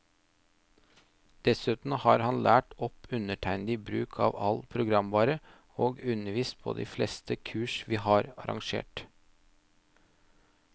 Dessuten har han lært opp undertegnede i bruk av all programvare, og undervist på de fleste kurs vi har arrangert.